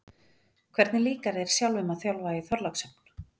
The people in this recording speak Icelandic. Hvernig líkar þér sjálfum að þjálfa í Þorlákshöfn?